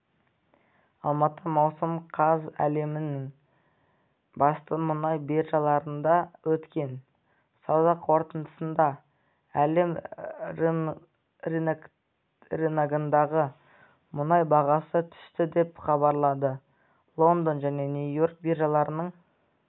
алматы маусым қаз әлемнің басты мұнай биржаларында өткен сауда қортындысында әлем рыногындағы мұнай бағасы түсті деп хабарлады лондон және нью-йорк биржаларының